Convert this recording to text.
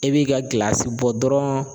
E b'i ka gilasi bɔ dɔrɔn